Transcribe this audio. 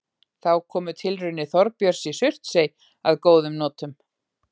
Þá komu tilraunir Þorbjörns í Surtsey að góðum notum.